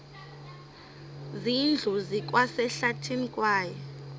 zindlu zikwasehlathini kwaye